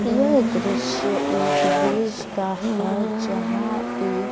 यह दृश्य एक ब्रिज का है जहां पे--